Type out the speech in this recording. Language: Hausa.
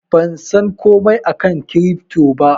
Ban san komai akan kirifto ba.